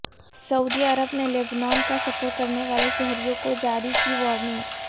سعودی عرب نے لبنان کا سفر کرنے والے شہریوں کو جاری کی وارننگ